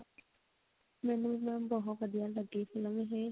ਮੈਨੂੰ mam ਬਹੁਤ ਵਧੀਆ ਲੱਗੀ film ਇਹ